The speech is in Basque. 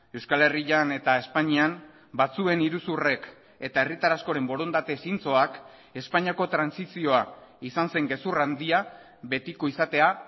euskal herrian eta espainian batzuen iruzurrek eta herritar askoren borondate zintzoak espainiako trantsizioa izan zen gezur handia betiko izatea